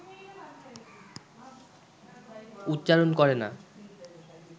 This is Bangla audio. উচ্চারণ করে না